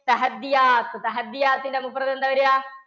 ന്റെ എന്താ വരാ?